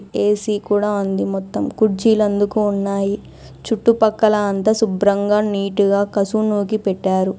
AC కూడా ఉంది మొత్తం. కుర్జీలు అందుకు ఉన్నాయి. చుట్టుపక్కల అంత శుభ్రంగా నీటుగా కసువు నూకి పెట్టారు.